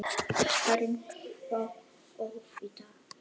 Hvernig þá óvitar?